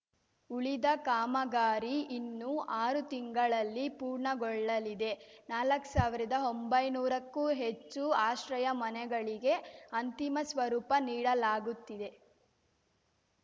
ಉಳಿದ ಕಾಮಗಾರಿ ಇನ್ನು ಆರು ತಿಂಗಳಲ್ಲಿ ಪೂರ್ಣಗೊಳ್ಳಲಿದೆ ನಾಲಕ್ ಸಾವಿರ್ದಾ ಒಂಬೈನೂರಕ್ಕೂ ಹೆಚ್ಚು ಆಶ್ರಯ ಮನೆಗಳಿಗೆ ಅಂತಿಮ ಸ್ವರೂಪ ನೀಡಲಾಗುತ್ತಿದೆ